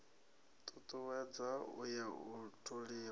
tutuwedza u ya u toliwa